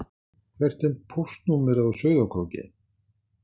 Hvert er póstnúmerið á Sauðárkróki?